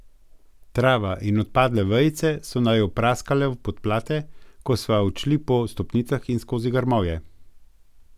Trava in odpadle vejice so naju praskale v podplate, ko sva odšli po stopnicah in skozi grmovje.